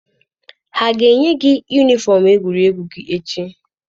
Ha ga-enye gị yunifọm egwuregwu gị echi?